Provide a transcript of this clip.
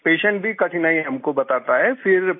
जी patient भी कठिनाइयाँ हम को बताता है